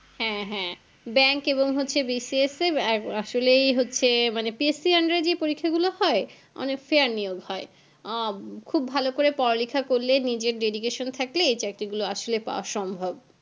হ্যাঁ হ্যাঁ bank এবং B C S এ আর আসলেই হচ্ছে মানে P S C র under এ যে পরীক্ষা গুলো হয় অনেক fair নিয়োগ হয় হম খুব ভালো করে পড়া লেখা করলে নিজের dedication থাকলে এই চাকরী গুলো আসলে পাওয়া সম্ভব